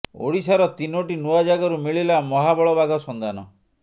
ଓଡ଼ିଶାର ତିନୋଟି ନୂଆ ଜାଗାରୁ ମିଳିଲା ମହାବଳ ବାଘ ସନ୍ଧାନ